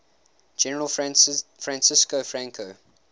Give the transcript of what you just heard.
general francisco franco